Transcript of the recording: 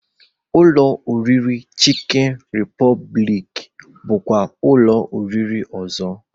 Ụlọ oriri Chịkịn Rịpọbịlịk bụkwa ụlọ oriri ọzọ